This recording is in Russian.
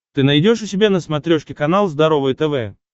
ты найдешь у себя на смотрешке канал здоровое тв